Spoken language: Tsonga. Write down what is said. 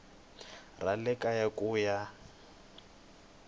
ra le kaya ku ya